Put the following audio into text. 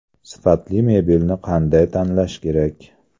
Sifatli mebelni qanday tanlash kerak?.